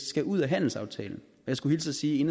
skal ud af handelsaftalen og jeg skulle hilse og sige